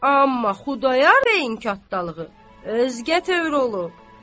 Amma Xudayar bəyin katdalığı özgə tövr olub.